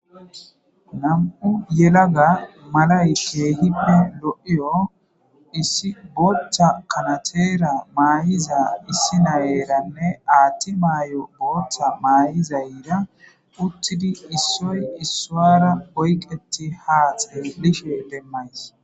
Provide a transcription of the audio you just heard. Na'u yelaga malayke hibbe lo'iyo issi boothcha kanateera maayiza issi nayeranne aatti mayo booththa maay'izayira uttidi issoy issawara boyqeti haaxe bishe demmays.